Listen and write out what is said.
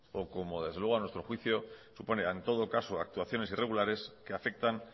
o como desde luego a nuestro juicio supone en todo caso actuaciones irregulares que afectan